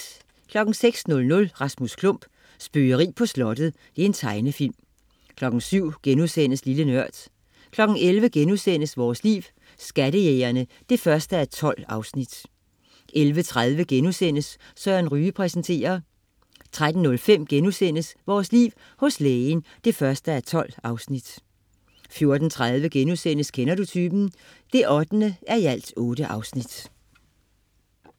06.00 Rasmus Klump. Spøgeri på slottet. Tegnefilm 07.00 Lille Nørd* 11.00 Vores Liv: Skattejægerne 1:12* 11.30 Søren Ryge præsenterer* 13.05 Vores Liv: Hos Lægen 1:12* 14.30 Kender du typen? 8:8*